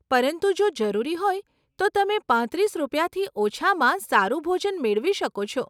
પરંતુ જો જરૂરી હોય તો તમે પાંત્રીસ રૂપિયાથી ઓછામાં સારું ભોજન મેળવી શકો છો.